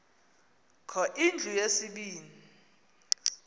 kho indlu yesibini